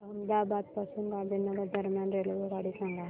अहमदाबाद पासून गांधीनगर दरम्यान रेल्वेगाडी सांगा